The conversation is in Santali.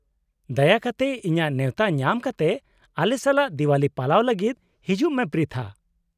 -ᱫᱟᱭᱟ ᱠᱟᱛᱮ, ᱤᱧᱟᱹᱜ ᱱᱮᱶᱛᱟ ᱧᱟᱢ ᱠᱟᱛᱮ ᱟᱞᱮ ᱥᱟᱞᱟᱜ ᱫᱮᱣᱟᱞᱤ ᱯᱟᱞᱟᱣ ᱞᱟᱹᱜᱤᱫ ᱦᱤᱡᱩᱜ ᱢᱮ ᱯᱨᱤᱛᱷᱟ ᱾